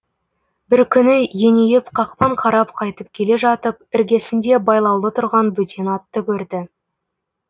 бір күні еңееп қақпан қарап қайтып келе жатып іргесінде байлаулы тұрған бөтен атты көрді